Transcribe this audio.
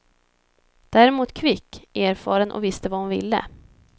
Däremot kvick, erfaren och visste vad hon ville.